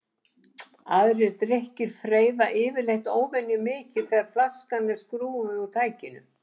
Aðrir drykkir freyða yfirleitt óvenjumikið þegar flaskan er skrúfuð úr tækinu.